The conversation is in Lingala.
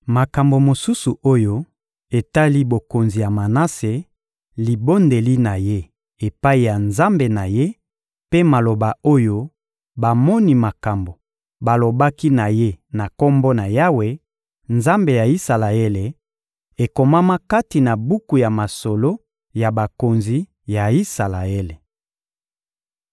Makambo mosusu oyo etali bokonzi ya Manase, libondeli na ye epai ya Nzambe na ye mpe maloba oyo bamoni makambo balobaki na ye na Kombo na Yawe, Nzambe ya Isalaele, ekomama kati na buku ya masolo ya bakonzi ya Isalaele.